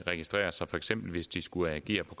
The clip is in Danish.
registrere sig for eksempel hvis de skulle agere på